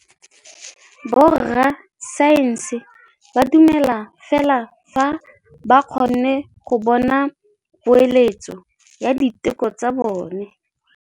Borra saense ba dumela fela fa ba kgonne go bona poeletsô ya diteko tsa bone.